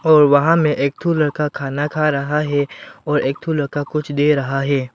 और वहां में एक ठो लड़का खाना खा रहा है और एक ठो लड़का कुछ दे रहा है।